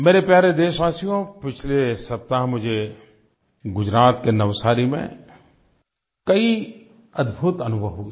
मेरे प्यारे देशवासियो पिछले सप्ताह मुझे गुजरात के नवसारी में कई अद्भुत अनुभव हुए